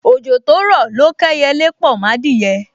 Ojo to ro lo k’eyele po m’adiye